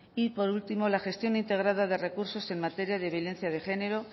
y por último la gestión integrada de recursos en materia de violencia de género